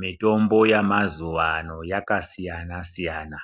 Mitombo yamazuwano yakasiyana siyana